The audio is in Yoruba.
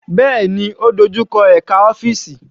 Bẹ́ẹ̀ni, ó dojú kọ ẹka òfin.